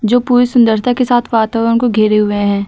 जो पूरी सुंदरता के साथ वातावरण को घेरे हुए हैं।